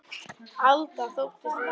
Alda þóttist aldrei vera skyggn.